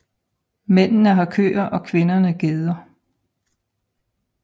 Mændene har køer og kvinderne geder